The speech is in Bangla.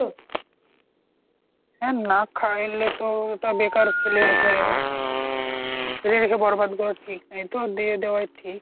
হ্যাঁ না খাইলেও তো ঐটা বেকার ফেলে রেখে ফেলে রেখে বরবাদ করা ঠিক না, এইতো দিয়ে দেয়াই ঠিক